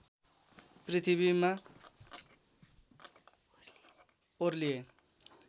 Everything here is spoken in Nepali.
पृथ्वीमा ओर्लिए